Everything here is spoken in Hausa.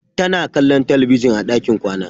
Tana kwallon talabijin a ɗakin kwana.